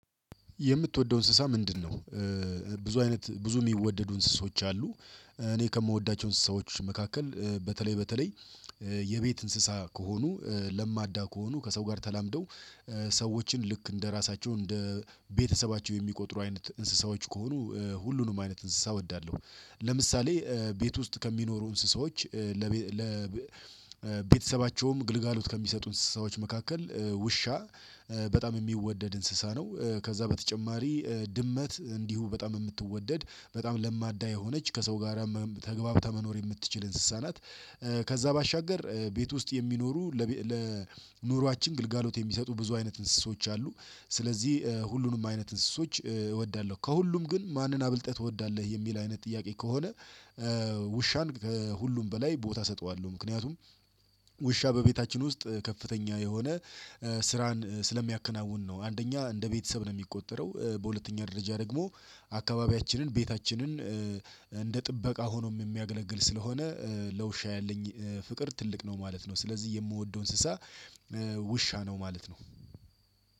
የምትወደው እንስሳ ምንድነው? ብዙ አይነት ብዙ የሚወደዱ እንስሳዎች አሉ። እኔ ከምወዳቸው እንስሳዎች መካከል በተለይ በተለይ የቤት እንስሳ ከሆኑ ለማዳ ከሆኑ ከሰው ጋር ተላምደው ሰዎችን ልክ እንደራሳቸው እንደ ቤተሰባቸው የሚቆጥሩ አይነት እንስሳዎች ከሆኑ ሁሉንም አይነት እንስሳ እወዳለሁ። ለምሳሌ ቤት ውስጥ ከሚኖሩ እንስሳዎች። ለቤተሰባቸውም ግልጋሎት ከሚሰጡ እንስሳዎች መካከል ውሻ በጣም የሚወደድ እንስሳ ነው። ከዛ በተጨማሪ ድመት እንዲሁ በጣም የምትወደድ በጣም ለማዳ የሆነች ከሰው ጋራ ተገብተህ መኖር የምትችል እንስሳናት። ከዛ ባሻገር ቤት ውስጥ የሚኖሩ ለኑሯችን ግልጋሎት የሚሰጡ ብዙ አይነት እንስሶች አሉ። ስለዚህ ሁሉንም አይነት እንስሶች እወዳለሁ ከሁሉም ግን ማንን አብልጠህ ትወዳለህ የሚል አይነት ጥያቄ ከሆነ? ውሻን ከሁሉም በላይ ቦታ እሰጠዋለሁ። ምክንያቱም ውሻ በቤታችን ውስጥ ከፍተኛ የሆነ ስራን ስለሚያከናውን ነው አንደኛ እንደ ቤተሰብ ነው የሚቆጠረው። በሁለተኛ ደረጃ ደግሞ አካባቢያችንን ቤታችንን እንደ ጥበቃ ሆኖም የሚያገለግል ስለሆነ። ለውሻ ያለኝ ፍቅር ትልቅ ነው ማለት ነው። ስለዚህ የምወደው እንስሳ ውሻ ነው ማለት ነው።